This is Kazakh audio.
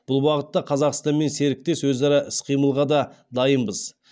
бұл бағытта қазақстанмен серіктес өзара іс қимылға да дайынбыз